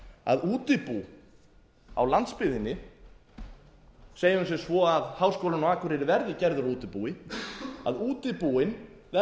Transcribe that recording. að útibú á landsbyggðinni segjum sem svo að háskólinn á akureyri verði gerður að útibúi